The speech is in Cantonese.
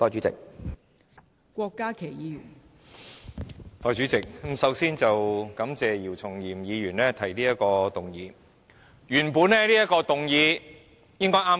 代理主席，首先感謝姚松炎議員提出這項議案。